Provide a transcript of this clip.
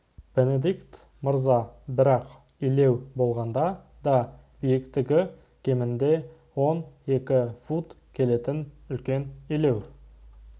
бенедикт мырза бірақ илеу болғанда да биіктігі кемінде он екі фут келетін үлкен илеу